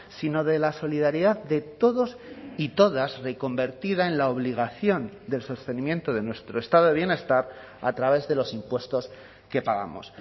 sino de la solidaridad de todos y todas reconvertida en la obligación del sostenimiento de nuestro estado de bienestar a través de los impuestos que pagamos